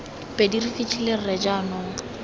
pedi re fitlhile rre jaanong